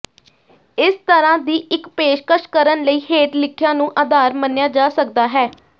ਇਸ ਤਰ੍ਹਾਂ ਦੀ ਇਕ ਪੇਸ਼ਕਸ਼ ਕਰਨ ਲਈ ਹੇਠ ਲਿਖਿਆਂ ਨੂੰ ਆਧਾਰ ਮੰਨਿਆ ਜਾ ਸਕਦਾ ਹੈ